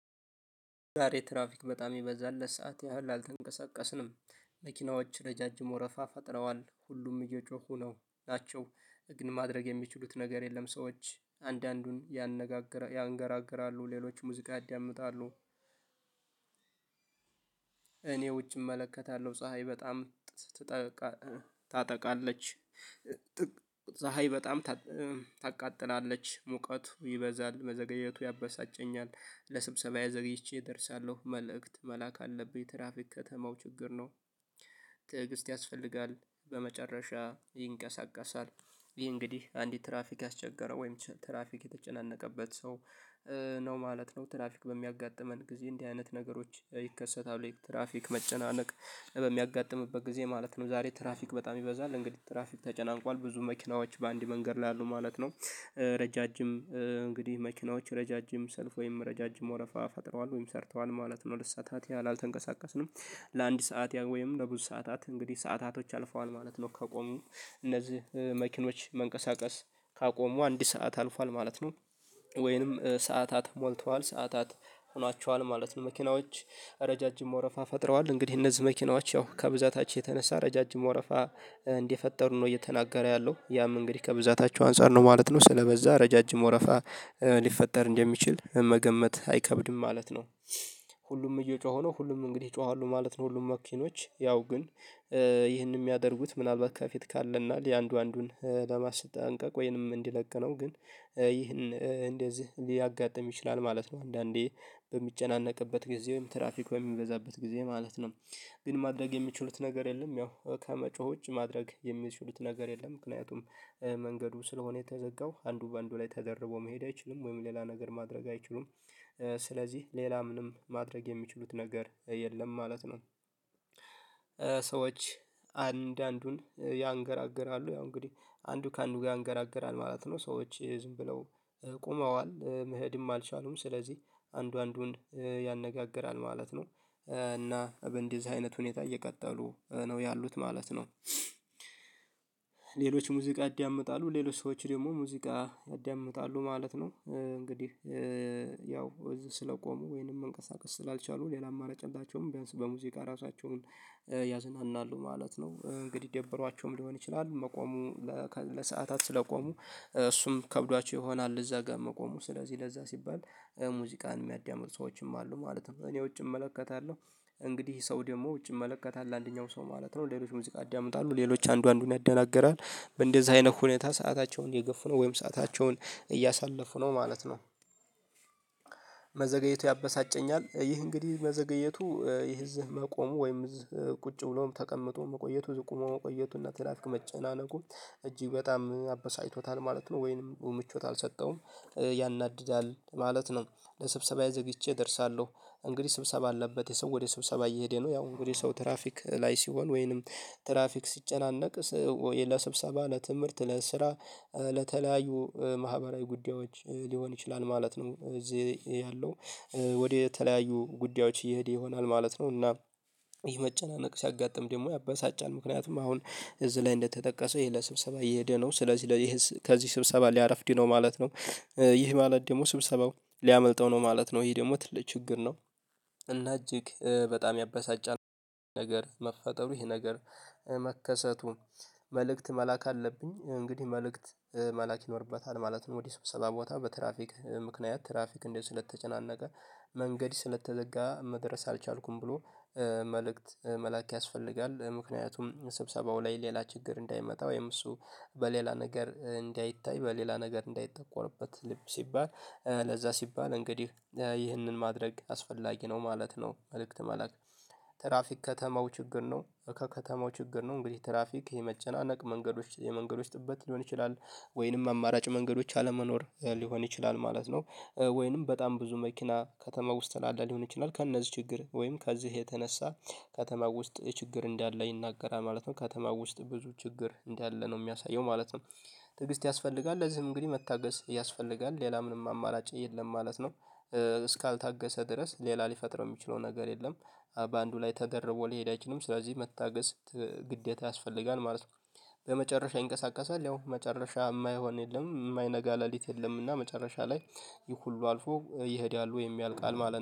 ዛሬ ትራፊክ በጣም የበዛለት ሰዓት ያህል አልተንቀሳቀስንም። መኪናዎች ረዣዥም ወረፋ ፈጥረዋል ሁሉም እየጮሁ ናቸው ግን ማድረግ የሚችሉት ነገር የለም። ሰዎች አንዳንዱን ይነጋገራሉ ሌሎች ሙዚቃ ያዳምጣሉ። እኔ ውጪ እመለከታለሁ ፀሀይ በጣም ስትጠልቅ ታጠቃለች። ፀሀይ በጣም ታቃጥላለች ሙቀቱ ይበዛል መዘገየቱ ያበሳጨኛል። ለስብሰባዬ ዘግይቼ ደርሳለሁ መልእክት መላክ አለብኝ ትራፊክ ከተማው ችግር ነው። ትዕግስት ያስፈልጋል በመጨረሻ ይንቀሳቀሳል። ይሄ እንግዲህ አንዲት ትራፊክ ያስቸገረው ወይም ትራፊክ የተጨናነቀበት ሰው ነው ማለት ነው። ትራፊክ በሚያጋጥመን ጊዜ እንዲህ አይነት ነገሮች ይከሰታል ትራፊክ መጨናነቅ በሚያጋጥምበት ጊዜ ማለት ነው። ዛሬ ትራፊክ በጣም ይበዛል እንግዲህ ትራፊክ ተጨናንቋል ብዙ መኪናዎች በአንድ መንገድ ላሉ ማለት ነው። ረዣዥም እንግዲህ መኪናዎች ረዣዥም ሰልፍ ወይም ረዣዥም ወረፋ ፈጥረዋል ወይም ሰርተዋል ማለት ነው ሁለት ሰዓታት ያህል አልተንቀሳቀስንም። ለአንድ ሰዓት ያህል ወይም ለብዙ ሰዓታት እንግዲህ ሰዓታቶች አልፈዋል ማለት ነው። ከቆሙ እነዚህ መኪኖች መንቀሳቀስ ካቆሙ አንድ ሰዓት አልፏል ማለት ነው። ወይንም ሰዓታት ሞልተዋል ሰዓታት ሆኗቸዋል ማለት ነው መኪናዎች ረዣዥም መውረፋ ፈጥረዋል። እንግዲህ እነዚህ መኪናዎች ያው ከብዛታቸው የተነሳ ረዣዥም ወረፋ እንዲፈጠሩ ነው እየተናገረ ያለው ያም እንግዲህ ከብዛታቸው አንፃር ማለት ነው። ስለበዛ ረዣዥም ወረፋ ሊፈጠር እንደሚችል መገመት አይከብድም ማለት ነው። ሁሉም እየጮኸ ነው ሁሉም እንግዲህ ይጮሃሉ ማለት ነው ሁሉም መኪኖች ያው ግን ይህንን የሚያደርጉት ምናልባት ከፊት ካለና ለአንዱ አንዱን ለማስጠንቀቅ ወይንም እንዲለቅነው ግን ይህን እንደዚህ ሊያጋጥም ይችላል ማለት ነው። አንዳንዴ በሚጨናነቅበት ጊዜ ወይም ትራፊክ የሚበዛበት ጊዜ ማለት ነው። ግን ማድረግ የሚችሉት ነገር የለም ያው ከመጮህ ውጭ ማድረግ የሚችሉት ነገር የለም። ምክንያቱም መንገዱ ስለሆነ የተዘጋው አንዱ በአንዱ ላይ ተደርቦ መሄድ አይችልም ወይም ሌላ ነገር ማድረግ አይችሉም። ስለዚህ ሌላ ምንም ማድረግ የሚችሉት ነገር የለም ማለት ነው። ሰዎች አንድ አንዱን ያንገራግራሉ ያው እንግዲህ አንዱ ከአንዱ ጋር ያንገራግራል ማለት ነው። ሰዎች ዝም ብለው ቆመዋል መሄድም አልቻሉም ስለዚህ አንዱ አንዱን ያነጋግራል ማለት ነው። እና በዚህ አይነት ሁኔታ እየቀጠሉ ነው ያሉት ማለት ነው። ሌሎች ሙዚቃ ያዳምጣሉ ሌሎች ሰዎች ደግሞ ሙዚቃ ያደምጣሉ ማለት ነው እንግዲህ ያው እዚህ ስለቆሙ ወይንም መንቀሳቀስ ስላልቻሉ ሌላም አላጨላቸውም ቢያንስ በሙዚቃ ራሳቸውን ያዘናናሉ ማለት ነው። እንግዲህ ደብሯቸውም ሊሆን ይችላል መቆሙ ለሰአታት ስለቆሙ እሱም ከብዷቸው ይሆናል እዛ ጋር መቆሙ ስለዚህ ለዛ ሲባል ሙዚቃን የሚያዳምጡ ሰዎችም አሉ ማለት ነው። እኔ ውጭ እመለከታለሁ እንግዲህ ሰው ደግሞ ውጭ እመለከታለሁ ለአንደኛው ሰው ማለት ነው ሌሎች ሙዚቃ ያዳምጣሉ ሌሎች አንዱ አንዱን ያደናግራል በእንደዚህ አይነት ሁኔታ ሰአታቸውን እየገፉ ነው ወይም ሰአታቸውን እያሳለፉ ነው ማለት ነው። መዘገየቱ ያበሳጨኛል ይህ እንግዲህ በዘገየቱ ይህ እዚህ መቆሙ ወይም እዚህ ቁጭ ብሎም ተቀምጦም መቆየቱ ቁሞ መቆየቱና ትራፊክ መጨናነቁ እጅግ በጣም አበሳጭቶታል ማለት ነው። ወይንም ምቾት አልሰጠውም ያናድዳል ማለት ነው። ለስብሰባዬ ዘግይቼ እደርሳለሁ እንግዲህ ስብሰባ አለበት ይሄ ሰው ወደ ሰብሰባ እየሄደ ነው ያው እንግዲህ ሰው ትራፊክ ላይ ሲሆን ወይንም ትራፊክ ሲጨናነቅ ወይ ለስብሰባ ለትምህርት ለስራ ለተለያዩ ማህበራዊ ጉዳዮች ሊሆን ይችላል። ማለት ነው እዚህ ያለው ወደ የተለያዩ ጉዳዮች እየሄደ ይሆናል ማለት ነው። እና ይሄ መጨናነቅ ሲያጋጥም ደግሞ ያበሳጫል ምክንያቱም አሁን እዚህ ላይ እንደተጠቀሰው ይሄ ለስብሰባ እየሄደ ነው ስለዚህ ይሄ ከዚህ ስብሰባ ሊያረፍድ ነው ማለት ነው። ይህ ማለት ደግሞ ስብሰባው ሊያመልጠው ነው ማለት ነው ይሄ ደግሞ ትልቅ ችግር ነው። እና እጅግ በጣም ያበሳጫል። ነገር መፈጠሩ ይሄ ነገር መከሰቱ መልእክት መላክ አለብኝ እንግዲህ መልእክት መላክ ይኖርበታል ማለትም ወዲህ ስብሰባ ቦታ በትራፊክ ምክንያት ትራፊክ እንደው ስለተጨናነቀ መንገድ ስለተዘጋ መድረስ አልቻልኩም ብሎ መልእክት መላክ ያስፈልጋል። ምክንያቱም ስብሰባው ላይ ሌላ ችግር እንዳይመጣ ወይም እሱ በሌላ ነገር እንዳይታይ በሌላ ነገር እንዳይጠቆርበት ልብ ሲባል ለዛ ሲባል እንግዲህ ይህንን ማድረግ አስፈላጊ ነው ማለት ነው። መልእክት መልእክት ትራፊክ ከተማው ችግር ነው ከከተማው ችግር ነው። እንግዲህ ትራፊክ የመጨናነቅ መንገዶች የመንገዶች ጥበት ሊሆን ይችላል ወይንም አማራጭ መንገዶች አለመኖር ሊሆን ይችላል ማለት ነው። ወይንም በጣም ብዙ መኪና ከተማ ውስጥ ያለ ሊሆን ይችላል ከእነዚህ ችግር ወይም ከዚህ የተነሳ ከተማ ውስጥ ችግር እንዳለ ይናገራል ማለት ነው። ከተማ ውስጥ ብዙ ችግር እንዳለ ነው የሚያሳየው። ማለትም ትዕግስት ያስፈልጋል ለዚህም እንግዲህ መታገስ ያስፈልጋል ሌላ ምንም አማላጭ የለም ማለት ነው። እስካልታገሰ ድረስ ሌላ ሊፈጥረው የሚችለው ነገር የለም። በአንዱ ላይ ተደርቦ ሊሄድ አይችልም ስለዚህ መታገስ ግዴታ ያስፈልጋል ማለት ነው። በመጨረሻ ይንቀሳቀሳል ያው መጨረሻ የማይሆን የለም የማይነጋ ለሊት የለም እና መጨረሻ ላይ ይህ ሁሉ አልፎ ይሄዳሉ የሚያልቃል ማለት ነው